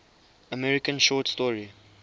american short story